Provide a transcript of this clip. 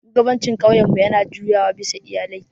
Shugabancin ƙauyenmu yana juyawa bisa iyalai.